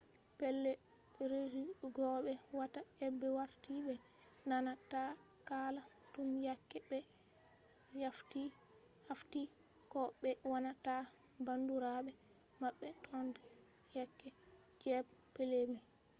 pellei resu go be watta aibe warti be nana ta hala tun yake be haffti ko be wanna ta bandurabe mabbe tun yake us jabe pellei mai